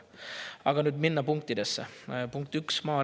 Aga nüüd lähen.